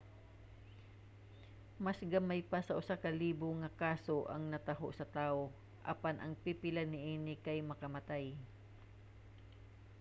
mas gamay pa sa usa ka libo nga kaso ang nataho sa tawo apan ang pipila niini kay makamatay